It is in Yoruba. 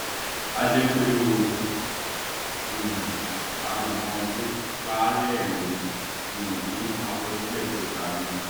a jẹ pé ó um ka nkan tó pàá lẹrìnín um nínú àkọsílẹ tó nkà ni